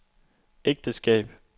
ægteskab